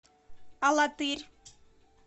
алатырь